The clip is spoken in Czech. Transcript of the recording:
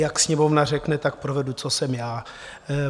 Jak Sněmovna řekne, tak provedu, co jsem já.